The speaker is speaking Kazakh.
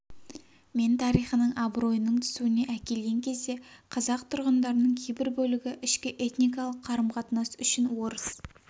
мен тарихының абыройының түсуіне әкелген кезде қазақ тұрғындарының кейбір бөлігі ішкі этникалық қарым-қатынас үшін орыс